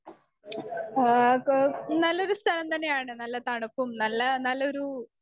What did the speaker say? speaker 1 ആ ക നല്ലൊരു സ്ഥലം തന്നെയാണ് നല്ല തണുപ്പും നല്ല നല്ലൊരു